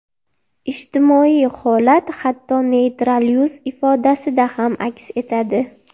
Ijtimoiy holat hatto neytral yuz ifodasida ham aks etadi.